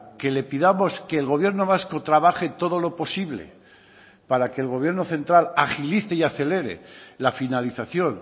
que le pidamos que el gobierno vasco trabaje todo lo posible para que el gobierno central agilice y acelere la finalización